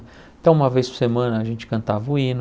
Então, uma vez por semana, a gente cantava o hino,